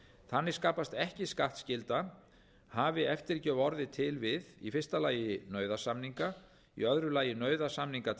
þannig skapast ekki skattskylda hafi eftirgjöf orðið til við í fyrst lagi nauðasamninga í öðru lagi nauðasamninga til